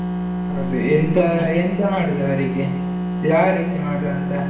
ಹೌದು, ಎಂತ ಎಂತ ಮಾಡುದ್ ಅವರಿಗೆ, ಯಾವ ರೀತಿ ಮಾಡುವಂತ?